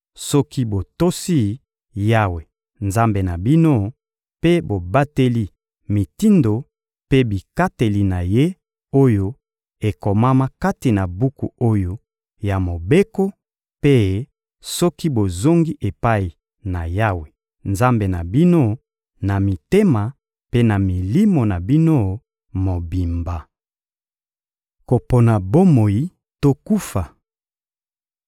soki botosi Yawe, Nzambe na bino, mpe bobateli mitindo mpe bikateli na Ye, oyo ekomama kati na buku oyo ya Mobeko, mpe soki bozongi epai na Yawe, Nzambe na bino, na mitema mpe na milimo na bino mobimba. Kopona bomoi to kufa